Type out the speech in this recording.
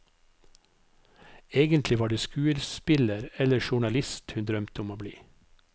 Egentlig var det skuespiller eller journalist hun drømte om å bli.